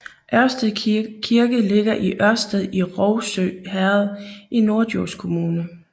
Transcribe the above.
Ørsted Kirke ligger i Ørsted i Rougsø Herred i Norddjurs Kommune